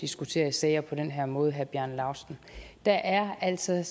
diskutere sager på den her måde herre bjarne laustsen der er altså